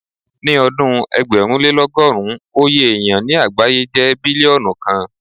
Ní ọdún ẹgbẹ̀rúnlélọ́gọ́rùn, oye èyàn ní àgbáyé jẹ́ bílíọ́nù kan.